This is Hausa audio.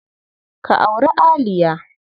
Ka auri Aliya.